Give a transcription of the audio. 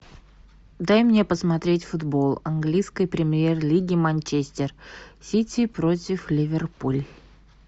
дай мне посмотреть футбол английской премьер лиги манчестер сити против ливерпуль